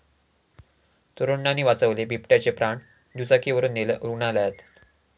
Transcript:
तरुणांनी वाचवले बिबट्याचे प्राण, दुचाकीवरुन नेलं रुग्णालयात!